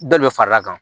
Dɔ de bɛ fara a kan